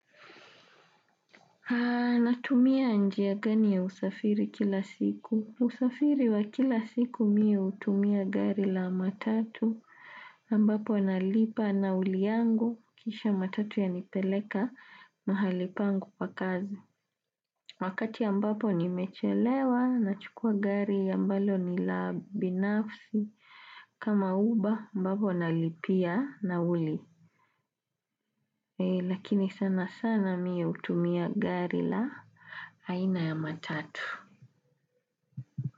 Haa natumia njia gani ya usafiri kila siku. Usafiri wa kila siku miu utumia gari la matatu ambapo analipa na luli yangu kisha matatu yanipeleka mahali pangu pa kazi. Wakati ambapo nimechelewa nachukua gari ambalo ni la binafsi kama uba ambapo nalipia nauli. Lakini sana sana miye hutumia gari la aina ya matatu.